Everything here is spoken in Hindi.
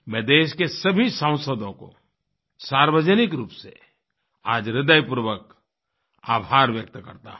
मैं देश के सभी सांसदों को सार्वजनिक रूप से आज हृदय पूर्वक आभार व्यक्त करता हूँ